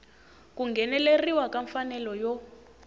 ku ngheneleriwa ka mfanelo yo